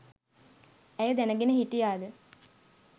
ඇය දැනගෙන හිටියාද?